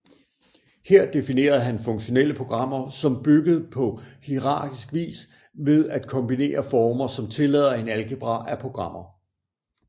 Her definerede han funktionelle programmer som bygget på hierarkisk vis ved at kombinere former som tillader en algebra af programmer